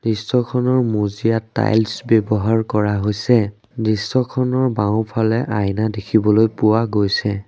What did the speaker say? দৃশ্যখনৰ মজিয়াত টাইলছ ব্যৱহাৰ কৰা হৈছে। দৃশ্যখনৰ বাওঁফালে আইনা দেখিবলৈ পোৱা গৈছে।